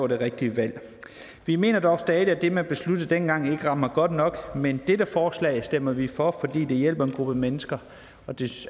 det rigtige valg vi mener dog stadig at det man besluttede dengang ikke rammer godt nok men dette forslag stemmer vi for fordi det hjælper en gruppe mennesker så det